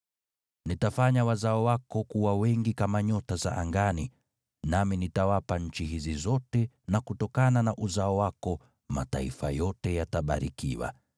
Nitafanya wazao wako kuwa wengi kama nyota za angani, nami nitawapa nchi hizi zote na kutokana na uzao wako mataifa yote yatabarikiwa,